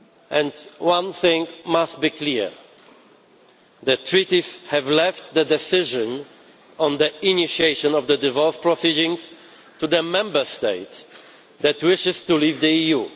And one thing must be clear the Treaties have left the decision on the initiation of the divorce proceedings to the Member State that wishes to leave the EU.